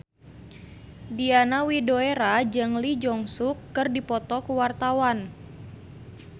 Diana Widoera jeung Lee Jeong Suk keur dipoto ku wartawan